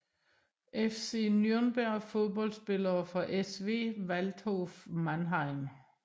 FC Nürnberg Fodboldspillere fra SV Waldhof Mannheim